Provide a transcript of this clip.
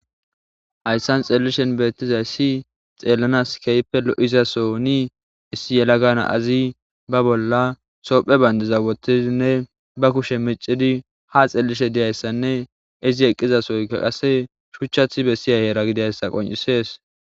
Haysan xelishin betizays xelanas kehipe lo'izasonne issi yelaga nazi ba bolla tophe bandiraza wothidinne ba kushe micidi ha xelishe dizaysanne izi eqizasyokka qase dhuchati besiza yara gididays qoncises